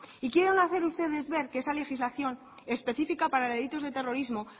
y quieren hacer ustedes ver que esa legislación específica para delitos de terrorismo